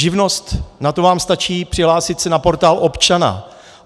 Živnost, na to vám stačí přihlásit se na Portál občana.